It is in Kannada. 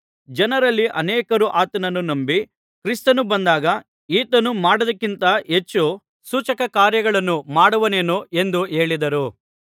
ಜನರಲ್ಲಿ ಅನೇಕರು ಆತನನ್ನು ನಂಬಿ ಕ್ರಿಸ್ತನು ಬಂದಾಗ ಈತನು ಮಾಡಿದ್ದಕ್ಕಿಂತ ಹೆಚ್ಚು ಸೂಚಕ ಕಾರ್ಯಗಳನ್ನು ಮಾಡುವನೇನೋ ಎಂದು ಹೇಳಿದರು